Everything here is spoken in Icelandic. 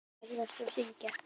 Ferðast og syngja.